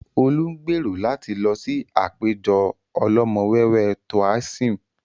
Olú ń gbèrò láti lọ sí àpéjọ ọlọ́mọ̀wé Toaism